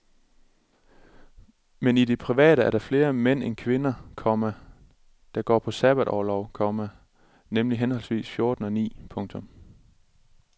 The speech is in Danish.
Men i det private er der flere mænd end kvinder, komma der går på sabbatorlov, komma nemlig henholdsvis fjorten og ni. punktum